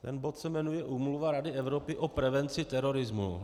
Ten bod se jmenuje Úmluva Rady Evropy o prevenci terorismu.